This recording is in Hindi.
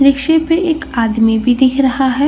रिक्शे पे एक आदमी भी दिख रहा है।